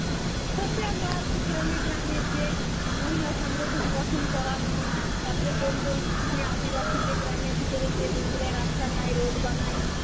social work গ্রামে গ্রামে গিয়ে মহিলা সংগঠন গঠন করানো, তারপর কোন কোন মেয়ে আদিবাসী দের গ্রামের ভিতরে যে রাস্তা নাই road বানায়.